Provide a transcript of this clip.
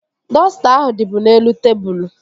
Dọsta ahụ dịbu n'elu tebụl